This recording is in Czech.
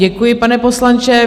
Děkuji, pane poslanče.